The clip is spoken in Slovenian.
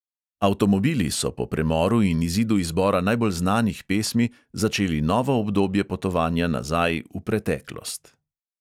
Avtomobili so po premoru in izidu izbora najbolj znanih pesmi začeli novo obdobje potovanja nazaj, v preteklost.